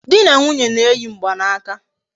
Di na nwunye na-eyi mgbanaka